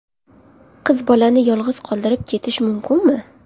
Qiz bolani yolg‘iz qoldirib ketish mumkinmi?